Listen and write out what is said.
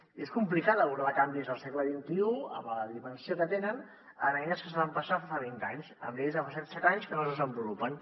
i és complicat abordar canvis al segle xxi amb la dimensió que tenen amb eines que es van pensar fa vint anys amb lleis de fa set anys que no es desenvolupen